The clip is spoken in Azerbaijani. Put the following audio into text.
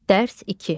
Dərs 2.